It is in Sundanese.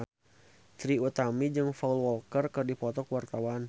Trie Utami jeung Paul Walker keur dipoto ku wartawan